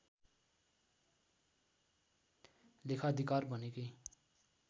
लेखाधिकार भनेकै